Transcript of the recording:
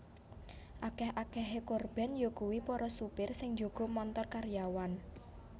Akèh akèhé korban yakuwi para supir sing njaga montor karyawan